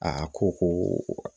A ko ko